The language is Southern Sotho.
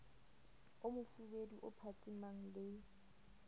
o mofubedu o phatsimang le